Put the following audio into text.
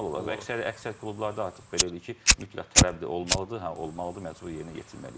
Formal olaraq əksər klublarda artıq belə eləyir ki, mütləq tələbdir olmalıdır, hə olmalıdır, məcburi yerinə yetirməlidir.